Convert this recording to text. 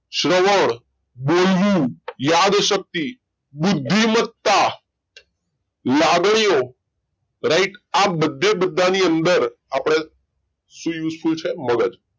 શ્રવણ બોલવું યાદ શક્તિ બુદ્ધિમત્તા લાગણીઓ right આ બધે બધાની અંદર આપણે શું use full છે મગજ